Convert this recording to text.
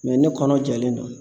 ne kɔnɔ jalen don